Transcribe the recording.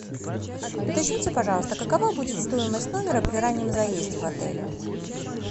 уточните пожалуйста какова будет стоимость номера при раннем заезде в отеле